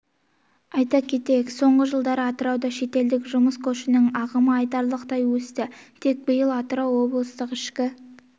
айта кетейік соңғы жылдары атырауда шетелдік жұмыс күшінің ағымы айтарлықтай өсті тек биыл атырау облыстық ішкі